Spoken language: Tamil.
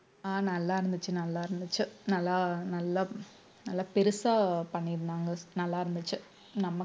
அஹ் நல்லா இருந்துச்சு நல்லா இருந்துச்சு நல்லா நல்லா நல்லா பெருசா பண்ணிருந்தாங்க நல்லா இருந்துச்சு நம்ம